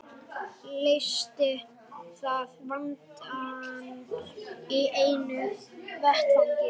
Leysti það vandann í einu vetfangi.